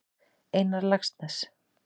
Einar Laxness.